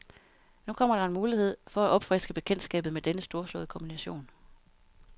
Nu kommer der en mulighed, for at opfriske bekendtskabet med denne storslåede komposition.